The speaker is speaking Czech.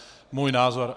Můj názor.